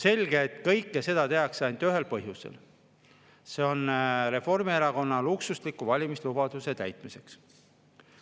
Selge, et kõike seda tehakse ainult ühel põhjusel: Reformierakonna luksusliku valimislubaduse täitmiseks.